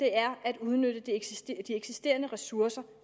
er at udnytte de eksisterende ressourcer